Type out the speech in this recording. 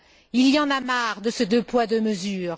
Il y en a marre de ce deux poids deux mesures!